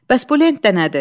Bəs bu lentdə nədir?